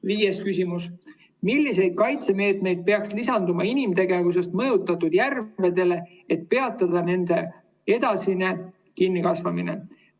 Viies küsimus: millised kaitsemeetmed peaks lisanduma inimtegevusest mõjutatud järvedele, et peatada nende edasine kinnikasvamine?